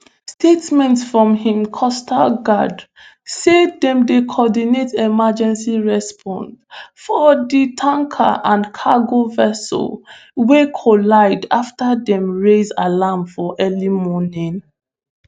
statement from hm coastguard say dem dey coordinate emergency response for di tanker and cargo vessel wey collide afta dem raise alarm for early morning